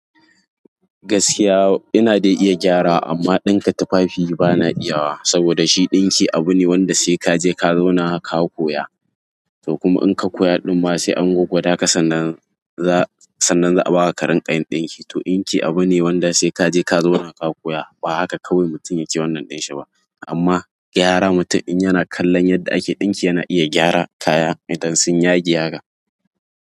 Gaskiya ina dai iya gyara amma ɗinka tufafi bana iya wa saboda shi ɗinki abu ne wanda sai kaje ka zauna ka koya. To kuma in ka koya ɗumma sai an goggo daka sannan za a baka karin ƙayin ɗinki. To din ƙi abu ne wanda sai kaje ka zauna ka koya. Ba haka kawai mutum yake wannan ɗin shi ba. Amma gyara mutun in yana kallo yadda ake ɗinki yana iya gyara kaya idan sun yage haka.